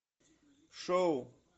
шоу